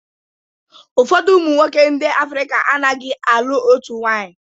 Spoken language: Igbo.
Ụfọdụ ụmụnwoke ndị Africa a naghị alụ otu nwanyị.